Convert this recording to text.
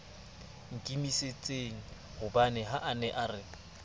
nkimisitsenghobane a ne a re